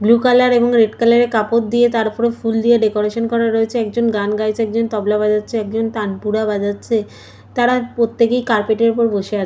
blue colour এবং red colour এর কাপড় দিয়ে তার ওপরে ফুল দিয়ে ডেকোরেশন করা রয়েছেএকজন গান গাইছেএকজন তবলা বাজাচ্ছেএকজন তানপুরা বাজাচ্ছেন তা রা প্রত্যেকেই কার্পেট এর ওপরে বসে আছ--